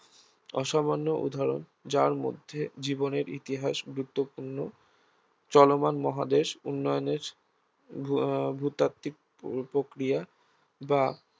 অসামান্য উদাহরণ যার মধ্যে জীবনের ইতিহাস গুরুত্বপূর্ন চলমান মহাদেশ উন্নয়নের আহ ভূতাত্ত্বিক প্রক্রিয়া বা